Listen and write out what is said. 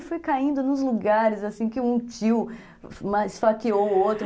E foi caindo nos lugares que um tio esfaqueou o outro.